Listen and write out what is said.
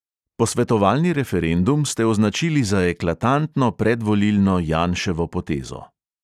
Posvetovalni referendum ste označili za "eklatantno predvolilno janševo potezo".